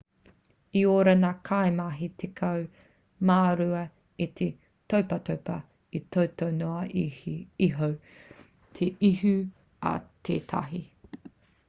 i ora ngā kaimahi tekau mā rua e te topatopa i toto noa iho te ihu a tētahi